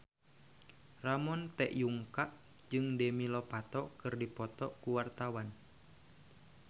Ramon T. Yungka jeung Demi Lovato keur dipoto ku wartawan